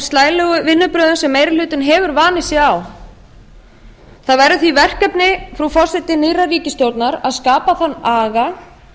slælegu vinnubrögðum sem meiri hlutinn hefur vanið sig á það verður því verkefni frú forseti nýrrar ríkisstjórnar að skapa þann aga